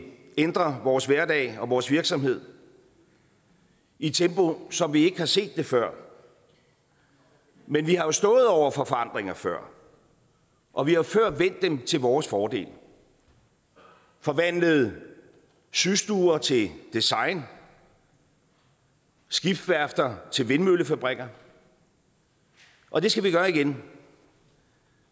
ændre vores hverdag og vores virksomhed i et tempo som vi ikke har set det før men vi har stået over for forandringer før og vi har jo før vendt dem til vores fordel forvandlet systuer til design skibsværfter til vindmøllefabrikker og det skal vi gøre igen